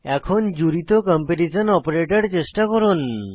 এখন জুড়িত comparison operator চেষ্টা করুন